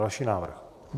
Další návrh.